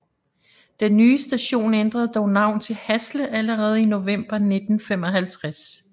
Den nye station ændrede dog navn til Hasle allerede i november 1955